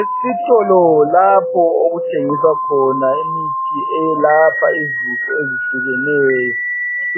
Esitolo lapho okuthengiswa khona imithi eyelapha izifo ezihlukeneyo.